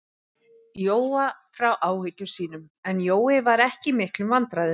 Jóa frá áhyggjum sínum, en Jói var ekki í miklum vandræðum.